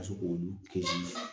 Ka se k'olu ke